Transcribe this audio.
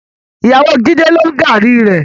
Ìyàwó Jídé ló ń gààrí rẹ.